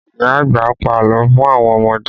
Ìyá àgbà pa àlọ́ fún àwọn ọmọdé